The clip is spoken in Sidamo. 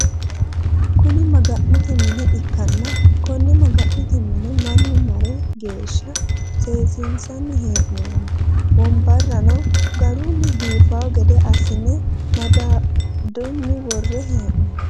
Kuni maga'note mine ikkanna konne maga'note mine mannu mara geeshsha seesinsanni hee'nonni. Wonbarrano garu biifawo gede assine madaduyi worre hee'nonni.